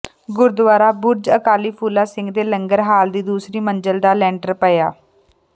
ਗੁਰਦੁਆਰਾ ਬੁਰਜ ਅਕਾਲੀ ਫੂਲਾ ਸਿੰਘ ਦੇ ਲੰਗਰ ਹਾਲ ਦੀ ਦੂਸਰੀ ਮੰਜ਼ਿਲ ਦਾ ਲੈਂਟਰ ਪਾਇਆ